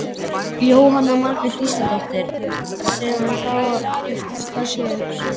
Jóhanna Margrét Gísladóttir: Sem að þá er flokkað sér?